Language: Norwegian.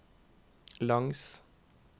langs